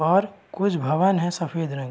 और कुछ भवन है सफ़ेद रंग --